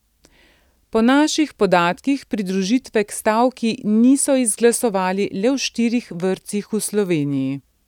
Po naših podatkih pridružitve k stavki niso izglasovali le v štirih vrtcih v Sloveniji.